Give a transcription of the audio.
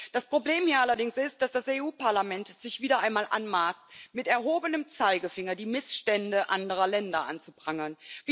Das Problem hier allerdings ist, dass das Europäische Parlament es sich wieder einmal anmaßt, mit erhobenem Zeigefinger die Missstände anderer Länder anzuprangern.